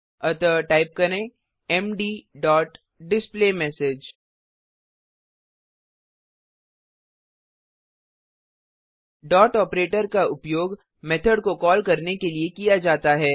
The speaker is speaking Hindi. अतः टाइप करें मद डॉट डिस्प्लेमेसेज डॉट ऑपरेटर का उपयोग मेथड को कॉल करने के लिए किया जाता है